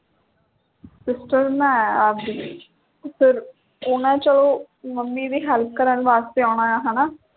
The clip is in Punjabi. sister ਬਣਾਇਆ ਆਪ ਦੀ ਫੇਰ ਉਨ੍ਹਾਂ ਚੋਂ mummy ਦੀ help ਕਰਨ ਵਾਸਤੇ ਆਉਣਾ ਹੈ ਹੈ ਨਾਂ